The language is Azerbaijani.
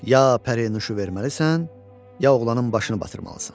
Ya pərinüşu verməlisən, ya oğlanın başını batırmalısan.